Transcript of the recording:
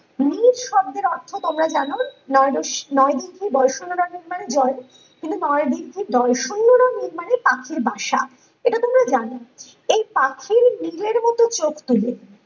নির শব্দের অর্থ তোমরা জানো নয় দশ নয়দিঘি দর্শনামানে জল কিন্তু দর্শনীয় মানে নির মানে পাখির বাসা এটা তোমরা জানো এই পাখি নিজের মতো চোখ তুলে